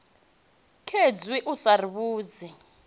khezwi u sa ri vhudzi